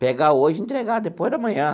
Pegar hoje e entregar depois de amanhã.